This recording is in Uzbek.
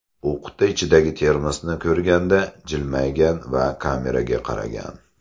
U quti ichidagi termosni ko‘rganda jilmaygan va kameraga qaragan.